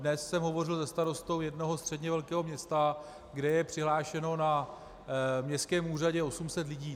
Dnes jsem hovořil se starostou jednoho středně velkého města, kde je přihlášeno na městském úřadě 800 lidí.